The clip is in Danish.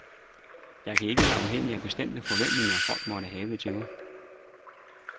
Jeg kan ikke være afhængig af bestemte forventninger, folk måtte have til mig.